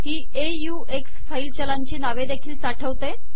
ही ऑक्स फाईल चलांची नवे देखील साठवते